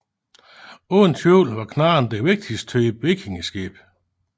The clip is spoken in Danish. Uden tvivl var knarren den vigtigste type vikingeskib